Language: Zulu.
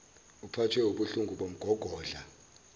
uphathwe wubuhlungu bomgogodla